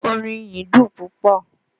Orin ìyìn dùn púpọ̀